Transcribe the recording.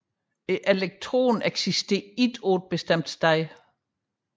Elektronen eksisterer ikke på et bestemt sted